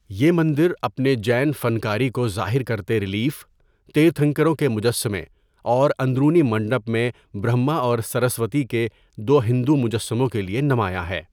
یہ مندر اپنے جین فن کاری کو ظاہر کرتے رلیف، تیرتھنکروں کے مجسمے اور اندرونی منڈپ میں برہما اور سرسوتی کے دو ہندو مجسموں کے لیے نمایاں ہے۔